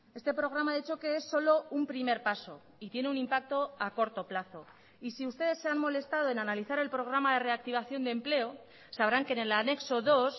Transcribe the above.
este programa de choque es solo un primer paso y tiene un impacto a corto plazo y si ustedes se han molestado en analizar el programa de reactivación de empleo sabrán que en el anexo dos